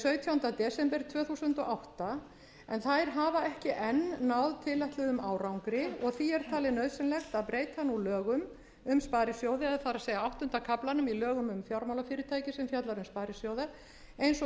sautjánda desember tvö þúsund og átta en þær hafa ekki enn náð tilætluðum árangri og því er talið nauðsynlegt að breyta nú lögum um sparisjóði eða það er áttunda kaflanum í lögunum um fjármálafyrirtæki sem fjallar um sparisjóði eins og